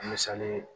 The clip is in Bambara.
Misali ye